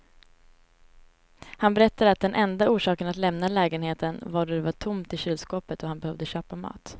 Han berättade att den enda orsaken att lämna lägenheten var då det var tomt i kylskåpet och han behövde köpa mat.